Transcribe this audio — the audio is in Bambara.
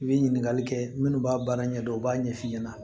I bɛ ɲininkali kɛ minnu b'a baara ɲɛdɔn u b'a ɲɛf'i ɲɛna